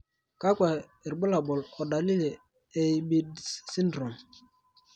Kakwa irbulabol o dalili e IBIDS syndrome?